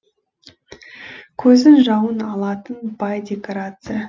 көздің жауын алатын бай декорация